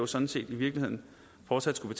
sådan set i virkeligheden fortsat skulle